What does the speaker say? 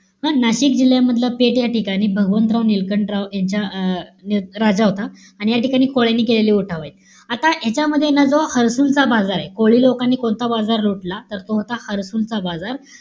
हं? नाशिक जिल्ह्यामधलं पेठ या ठिकाणी भगवंतराव निळकंठराव यांच्या अं राजा होता. आणि या ठिकाणी कोळ्यांनी केलेले उठाव आहेत. आता यांच्यामध्ये ना जो हरसूनचा बाजारे. कोळी लोकांनी कोणता बाजार लुटला? तर तो होता हरसूनचा बाजार.